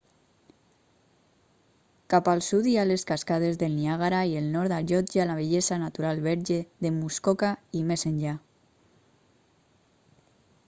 cap al sud hi ha les cascades del niàgara i el nord allotja la bellesa natural verge de muskoka i més enllà